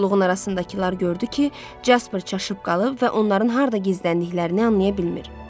Kolluğun arasındakılar gördü ki, Casper çaşıb qalıb və onların harda gizləndiklərini anlaya bilmir.